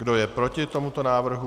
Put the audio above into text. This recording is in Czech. Kdo je proti tomuto návrhu?